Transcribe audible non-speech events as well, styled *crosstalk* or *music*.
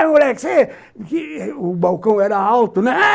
Ei, moleque, você... O balcão era alto, né, *noise*